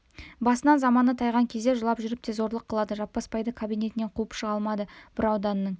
басынан заманы тайған кезде жылап жүріп те зорлық қылады жаппасбайды кабинетінен қуып шыға алмады бір ауданның